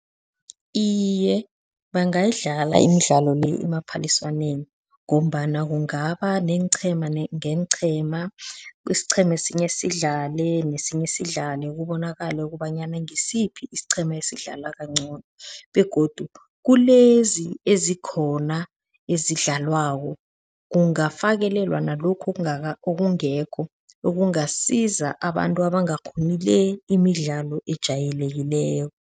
Iye, bangayidlala imidlalo le emaphaliswaneni ngombana kungaba neenqhema ngeenqhema, isiqhema sinye sidlale nesinye sidlale kubonakale ukobanyana ngisiphi isiqhema esidlala kancono begodu kulezi ezikhona ezidlalwako kungafakelelwa nalokhu okungekho okungasiza abantu abangakghoni le imidlalo ejayelekileko.